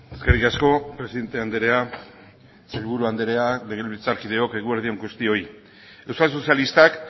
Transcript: eskerrik asko presidente andrea sailburu andrea legebiltzarkideok eguerdi on guztioi euskal sozialistak